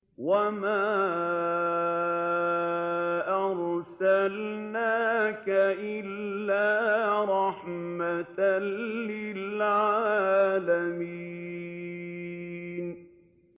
وَمَا أَرْسَلْنَاكَ إِلَّا رَحْمَةً لِّلْعَالَمِينَ